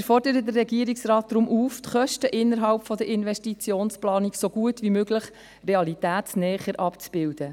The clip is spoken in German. Wir fordern den Regierungsrat deswegen auf, die Kosten innerhalb der Investitionsplanung so gut wie möglich realitätsnäher abzubilden.